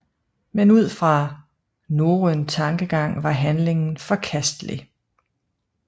Men ud fra norrøn tankegang var handlingen forkastelig